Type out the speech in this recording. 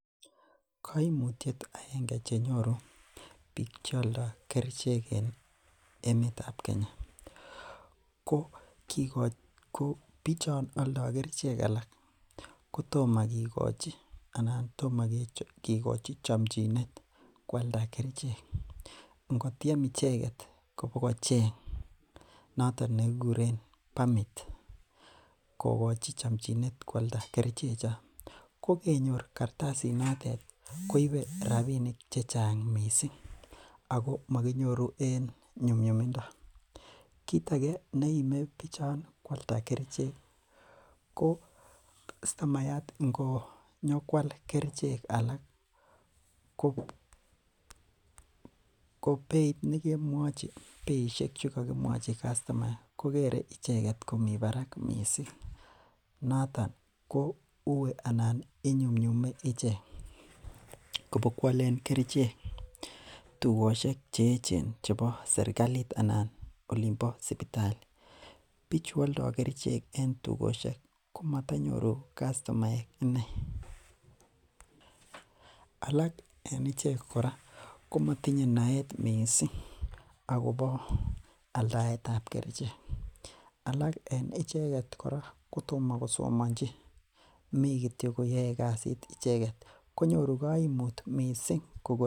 Koimutiet akenge chenyoru biik cheoldo kerichek en emetab Kenya ko bichon oldote kerichek alak kotomo kikochi alaan kotomo kikochi chomchinet kwalda kerichek, ing'otiem icheket kobokocheng noton nekikuren permit kokochi chomchinet kwalda kerichechon, ko kenyor kartasinotet koibe rabinik chechang mising ak ko mokinyoru en nyumnyumindo, kiit akee neime biik kwalda kerichek ko customayat ingonyokwal kerichek alaak ko beit nekemwochi beishek chekokimwochi customa kokere icheket komii barak mising noton ko uii anan inyumnyume ichek kobokwolen ichek keichek tukoshek che echen chebo serikalit anan olimbo sipitali, bichu oldo kerichek en tukoshek komotonyoru customaek ineei, alak en ichek korakomotinye naet mising akobo aldaetab kerichek, alak en icheket kora kotomo kosomonchi mii kitiok koyoe kasit icheket konyoru koimut mising kobun.